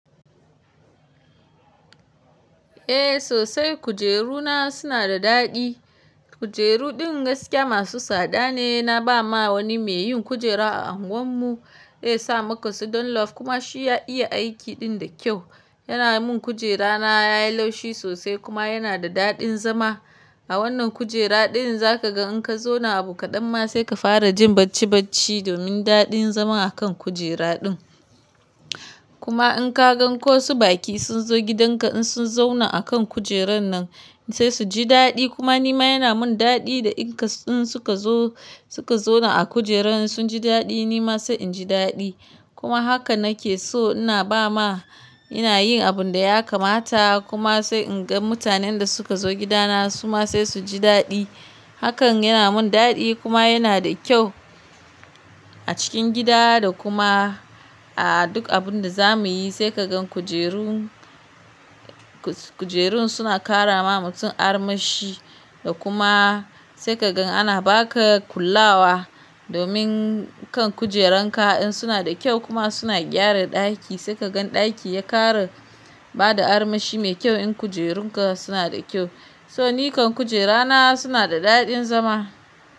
Eh sosai kujeru na suna da daɗi. Kujeru ɗin gaskiya masu tsada ne, na ba ma wani mai yin kujera a unguwan mu ya sa maka su donlof kuma shi ya iya aiki ɗin da kyau. Yana mun kujera na yayi laushi sosai kuma yana da daɗin zama. A wannan kujera ɗin zaka ga in ka zauna abu kaɗan ma sai ka fara jin bacci bacci domin daɗin zaman akan kujera ɗin. Kuma in ka gan ko su baki sun zo gidan ka in sun zauna akan kujeran nan sai su ji daɗi kuma nima yana mun daɗi in suka zo, suka zauna a kujeran sun ji daɗi nima sai inji daɗi. Kuma haka nake so ina ba ma, ina yin abun da ya kamata kuma sai in ga mutanen da suka zo gida na su ma sai su ji daɗi. Hakan yana mun daɗi kuma yana da kyau a cikin gida da kuma a duk abun da zamuyi sai ka gan kujerun, kujerun suna ƙara ma mutum armashi da kuma sai ka gan ana baka kulawa domin kan kujeran ka in suna da kyau kuma suna gyara ɗaki sai ka gan ɗaki ya ƙara bada armashi mai kyau in kujerun ka suna da kyau. So nikan kujera na suna da daɗin zama.